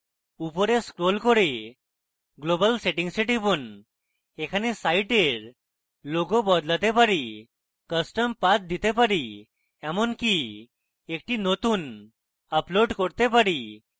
উপরে scroll করে global settings a টিপুন এখানে সাইটের logo বদলাতে পারি custom path দিতে পারি এমনকি একটি নতুন upload করতে পারি